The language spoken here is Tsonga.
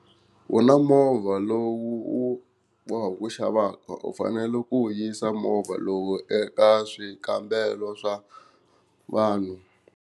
U na movha lowu u wu bohaka ku wu xavaka u fanele ku wu yisa movha lowu eka swikambelo swa vanhu.